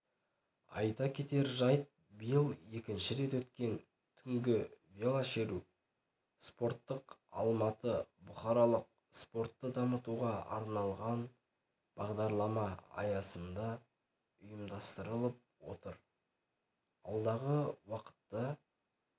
айта кетер жайт биыл екінші рет өткен түнгі велошеру спорттық алматы бұқаралық спортты дамытуға арналған бағдарлама аясында ұйымдастырылып отыр алдағы уақытта